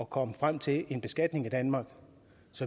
kom frem til en beskatning i danmark